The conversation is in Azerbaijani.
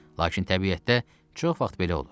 Lakin təbiətdə çox vaxt belə olur.